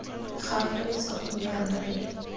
gagwe letsogo mme rona re